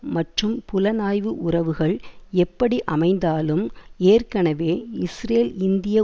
மற்றும் புலனாய்வு உறவுகள் எப்படி அமைந்தாலும் ஏற்கெனவே இஸ்ரேல் இந்திய